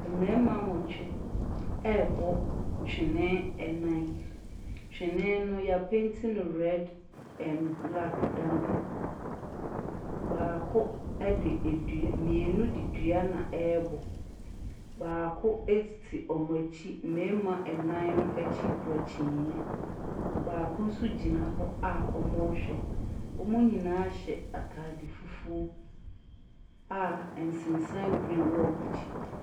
Mmarima nwɔtwe rebɔ twene nnan. Twene no wɔapenti no red na black dam. Baako de dua , mmienu de dua na ɛrebɔ. Baako te wɔn akyi . Mmarima nnan no akyi kura kyiniiɛ. Baako nso gyina hɔ a wɔrehwɛ. Wɔn nyinaa hyɛ atade fufuo a nsensan green wɔ wɔn akyi.